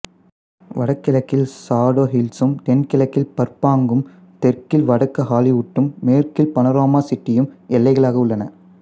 வடகிழக்கில் சாடோ ஹில்சும் தென்கிழக்கில் பர்பாங்கும் தெற்கில் வடக்கு ஆலிவுட்டும் மேற்கில் பனோராமா சிட்டியும் எல்லைகளாக உள்ளன